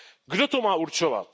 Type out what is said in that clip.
Kdo to má určovat?